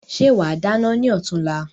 Ṣe wa dáná ni ọ̀túnla?